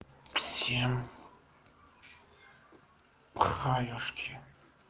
всем привет